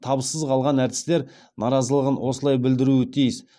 табыссыз қалған әртістер наразылығын осылай білдіруі тиіс